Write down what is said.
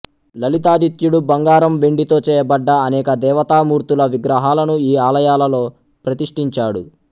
లలితాదిత్యుడు బంగారం వెండితో చేయబడ్డ అనేక దేవతామూర్తుల విగ్రహాలను ఈ ఆలయాలలో ప్రతిష్టించాడు